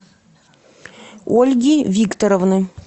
ольги викторовны